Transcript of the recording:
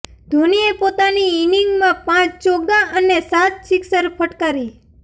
ધોનીએ પોતાની ઇનિંગમાં પાંચ ચોગ્ગા અને સાત સિક્સર ફટકારી